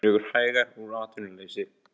Dregur hægar úr atvinnuleysi